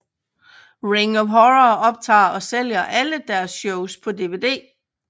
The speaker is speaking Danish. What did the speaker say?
Ring of Honor optager og sælger alle deres shows på dvd